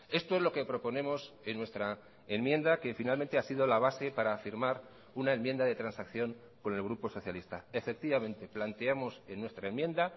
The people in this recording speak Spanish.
esto es lo que proponemos en nuestra enmienda que finalmente ha sido la base para afirmar una enmienda de transacción con el grupo socialista efectivamente planteamos en nuestra enmienda